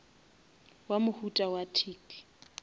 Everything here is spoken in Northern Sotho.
wa mohuta wa tic